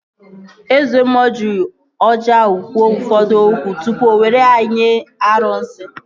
Eze mmụọ ji ọjị ahụ kwuo ụfọdụ okwu tupu o were ya nye arụsị